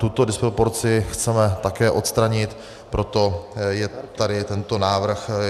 Tuto disproporci chceme také odstranit, proto je tady tento návrh.